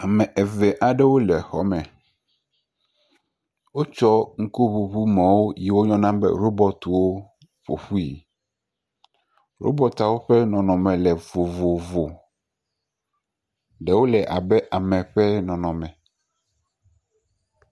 Ame eve aewo le xɔ me. Wotsɔ ŋku ŋuŋumɔ yi wo yɔ na be robortiwo ƒoƒui. Robortiawo ƒe nɔnɔ me le vovovo. Ɖewo le amewo ƒe nɔnɔ me.